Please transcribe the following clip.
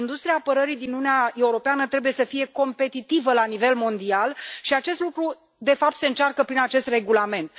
Industria apărării din Uniunea Europeană trebuie să fie competitivă la nivel mondial și acest lucru, de fapt, se încearcă prin acest regulament.